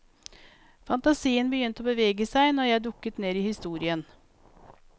Fantasien begynte å bevege seg når jeg dukket ned i historien.